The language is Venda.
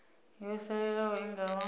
yo salelaho i nga vha